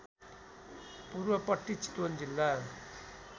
पूर्वपट्टी चितवन जिल्ला